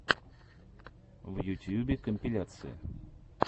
в ютьюбе компиляции